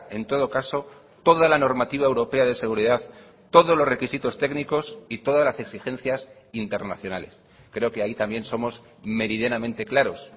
en todo caso toda la normativa europea de seguridad todos los requisitos técnicos y todas las exigencias internacionales creo que ahí también somos meridianamente claros